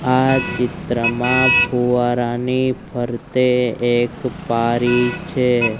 આ ચિત્રમાં ફુવારાની ફરતે એક પારી છે.